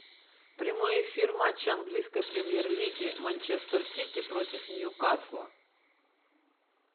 прямой эфир матча английской премьер лиги манчестер сити против ньюкасла